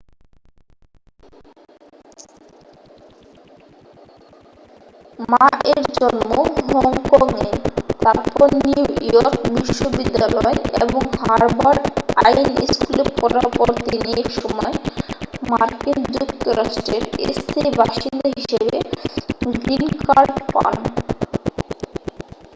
মা-এর জন্ম হংকং-এ তারপর নিউ ইয়র্ক বিশ্ববিদ্যালয় এবং হার্ভার্ড আইন স্কুলে পড়ার পর তিনি একসময় মার্কিন যুক্তরাষ্ট্রের স্থায়ী বাসিন্দা হিসাবে গ্রীন কার্ড পান